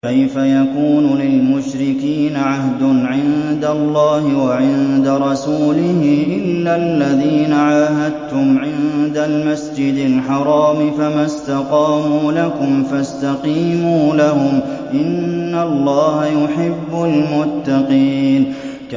كَيْفَ يَكُونُ لِلْمُشْرِكِينَ عَهْدٌ عِندَ اللَّهِ وَعِندَ رَسُولِهِ إِلَّا الَّذِينَ عَاهَدتُّمْ عِندَ الْمَسْجِدِ الْحَرَامِ ۖ فَمَا اسْتَقَامُوا لَكُمْ فَاسْتَقِيمُوا لَهُمْ ۚ إِنَّ اللَّهَ يُحِبُّ الْمُتَّقِينَ